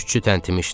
Südçü təntimişdi.